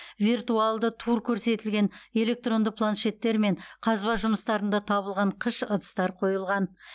виртуалды тур көрсетілген электронды планшеттер мен қазба жұмыстарында табылған қыш ыдыстар қойылған